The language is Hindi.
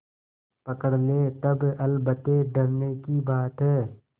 पकड़ ले तब अलबत्ते डरने की बात है